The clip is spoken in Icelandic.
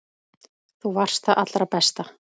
Þú varst það allra besta.